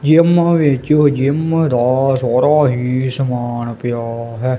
Gym ਵਿੱਚ gym ਦਾ ਸਾਰਾ ਹੀ ਸਮਾਣ ਪਿਆ ਹੈ।